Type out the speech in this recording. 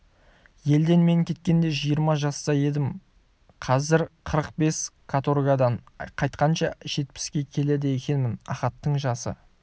елден мен кеткенде жиырма жаста едім-ау қазір қырық бес каторгадан қайтқанша жетпіске келеді екенмін ахаттың жасы